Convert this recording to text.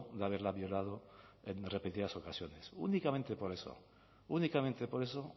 de haberla violado en repetidas ocasiones únicamente por eso únicamente por eso